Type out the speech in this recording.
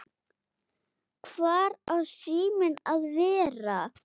Hvar á síminn að vera?